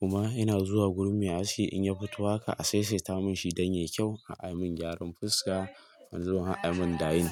kuma ina zuwa gurin me haski in ya fito haka a saisaita mun shi dan yayi kyau a'a mun gyaran fuska a'a mun dying.